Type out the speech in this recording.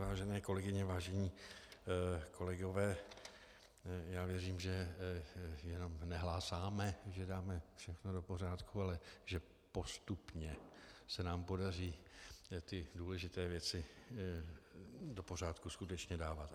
Vážené kolegyně, vážení kolegové, já věřím, že jenom nehlásáme, že dáme všechno do pořádku, ale že postupně se nám podaří ty důležité věci do pořádku skutečně dávat.